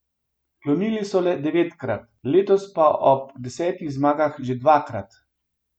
Klonili so le devetkrat, letos pa ob desetih zmagah že dvakrat.